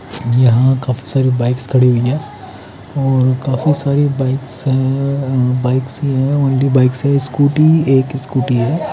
यहाँ काफीसारी बाइक्स लगी हुयी है और काफी सारी बाइक्स है बाइक्स है अ स्कूटी एक स्कूटी है।